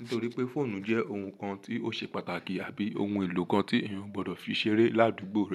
Nítorí pé fóònù jẹ́ ohun kan tí ó ṣe pàtàkì àbí ohun èlò kan tí èèyàn gbọdọ̀ fi ṣeré ládùúgbò rẹ̀.